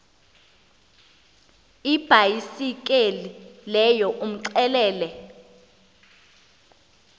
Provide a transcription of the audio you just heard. ibhayisekile leyo umxelele